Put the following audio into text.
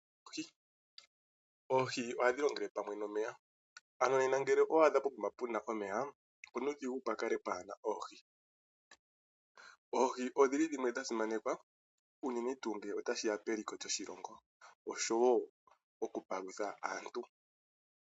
Oohi ohadhi longele pamwe nomeya. Ano nena ngele owaadha pukama puna opena onuudhigu pukale pwaana oohi . Oohi odhili dhimwe shasimanekwa unene tuu ngele otashi ya peliko lyoshilongo oshowoo okupalutha aantu.